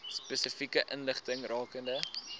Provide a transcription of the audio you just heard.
spesifieke inligting rakende